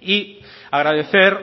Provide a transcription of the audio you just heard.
y agradecer